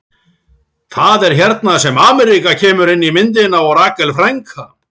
Það er hérna sem Ameríka kemur inn í myndina og Rakel frænka.